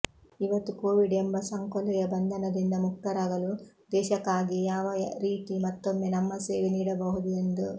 ಇವತ್ತು ಕೋವಿಡ್ ಎಂಬ ಸಂಕೊಲೆಯ ಬಂಧನದಿಂದ ಮುಕ್ತರಾಗಲು ದೇಶಕಾಗಿ ಯಾವ ರೀತಿ ಮತ್ತೊಮ್ಮೆ ನಮ್ಮ ಸೇವೆ ನೀಡಬಹುದು ಎಂದು